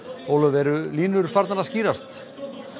Ólöf eru línurnar farnar að skýrast